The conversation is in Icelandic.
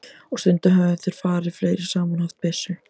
Og stundum höfðu þeir farið fleiri saman og haft byssu.